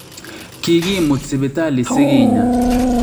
Kikimuut sipitali sikinya